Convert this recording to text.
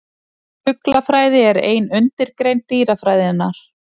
Fuglafræði er ein undirgrein dýrafræðinnar.